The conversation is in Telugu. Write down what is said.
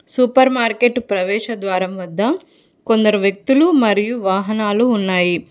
సూపర్ మార్కెట్ ప్రవేశ ద్వారం వద్ద కొందరు వ్యక్తులు మరియు వాహనాలు ఉన్నాయి.